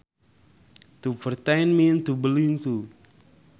To pertain means to belong to